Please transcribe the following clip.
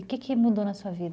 O que que mudou na sua vida?